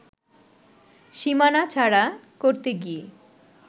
সীমানা ছাড়া করতে গিয়ে